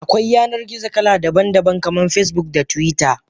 Akwai Yanar gizo kala daban daban kaman Facebook da twitter.